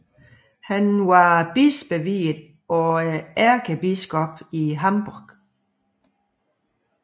Han var bispeviet af ærkebiskoppen i Hamburg